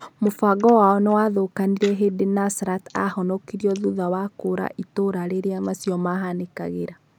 Mũbango wao niwathũkanire hindi Nusrat ahonokirio thutha wa kũũra itũra riria macio mahanĩkagĩra.